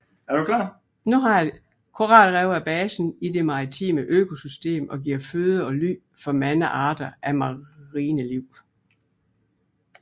Koralrev er basen i det maritime økosystem og giver føde og ly for mange arter af marine liv